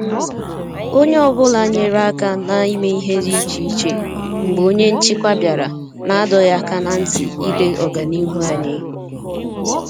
Onye ọ bụla nyere aka na ime ihe dị iche iche mgbe onye nchịkwa bịara na adọghị aka na ntị ile ọganihu anyị